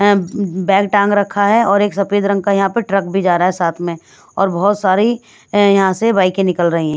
अं bag टांग रखा है और एक सफेद रंग का यहां पर ट्रक भी जा रहा है साथ में और बहोत सारी अं यहां से बाईकें निकल रही--